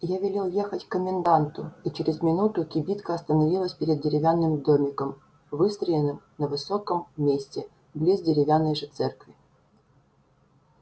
я велел ехать к коменданту и через минуту кибитка остановилась перед деревянным домиком выстроенным на высоком месте близ деревянной же церкви